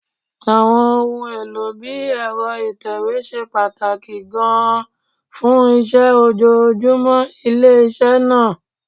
Àwọn ohun èlò bí ẹ̀rọ ìtẹ̀wé ṣe pàtàkì gan-an fún iṣẹ́ ojoojúmọ́ iléeṣẹ́ náà